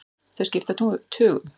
Þau skipta tugum.